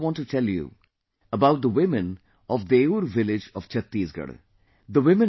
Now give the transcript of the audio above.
I also want to tell you about the women of Deur village of Chhattisgarh